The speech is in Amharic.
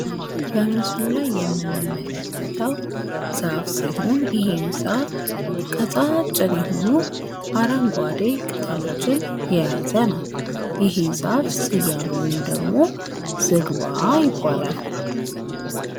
በምስሉ ላይ የምንመለከተው ዛፍ ሲሆን ይህም ዛፍ ቀጫጭን የሆኑ አረንጓዴ ቅጠሎችን የያዘ ነው። ይሄ ዛፍ ስያሜውም ደግሞ ዝግባ ይባላል።